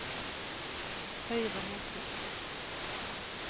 høyre motor